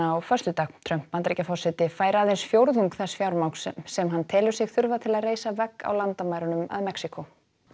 á föstudag Trump Bandaríkjaforseti fær aðeins fjórðung þess fjármagns sem hann telur sig þurfa til að reisa vegg á landamærunum að Mexíkó